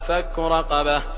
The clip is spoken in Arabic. فَكُّ رَقَبَةٍ